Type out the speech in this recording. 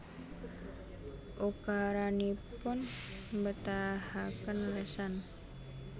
Ukaranipun mbetahaken lesan